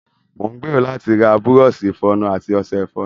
Mo ń gbèrò láti ra bùrọ̀ọ̀ṣi ìfọnu àti ọ̀ṣẹ ìfọnu.